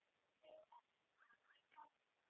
Já, þeir gera það.